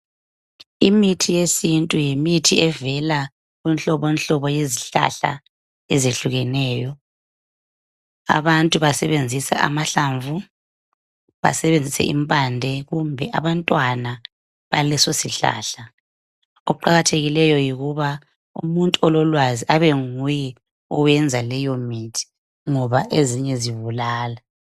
Imithi yesintu yimithi evela kunhlobonhlobo yezihlahla ezehlukeneyo. Abantu basebenzisa amahlamvu, basebenzise impande kumbe abantwana baleso sihlahla . Okuqakathekileyo yikuba umuntu ololwazi abenguye oyenza leyo mithi ngoba ezinye zibulala.